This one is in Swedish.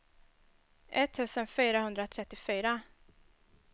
etttusen fyrahundratrettiofyra